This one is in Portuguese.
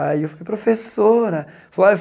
Aí eu falei, professora.